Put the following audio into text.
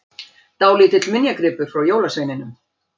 Dálítill minjagripur frá jólasveininum!